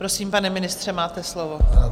Prosím, pane ministře, máte slovo.